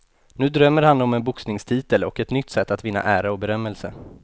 Nu drömmer han om en boxningstitel och ett nytt sätt att vinna ära och berömelse.